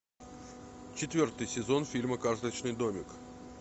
четвертый сезон фильма карточный домик